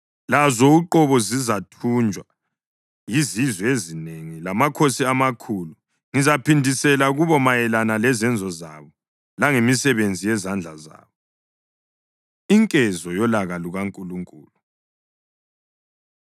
Lazo uqobo zizathunjwa yizizwe ezinengi lamakhosi amakhulu; ngizaphindisela kubo mayelana lezenzo zabo langemisebenzi yezandla zabo.” Inkezo Yolaka LukaNkulunkulu